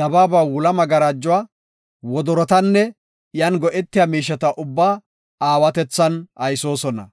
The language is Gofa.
dabaaba wula magarajuwa, wodorotanne iyan go7etiya miisheta ubbaa aawatethan aysoosona.